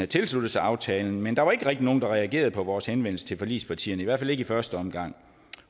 tilsluttet sig aftalen men der var ikke rigtig nogen der reagerede på vores henvendelse til forligspartierne i hvert fald ikke i første omgang